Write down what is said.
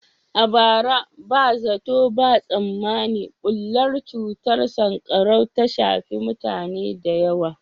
A bara, ba zato ba tsammani bullar cutar sankarau ta shafi mutane da yawa.